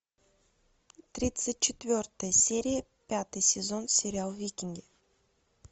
тридцать четвертая серия пятый сезон сериал викинги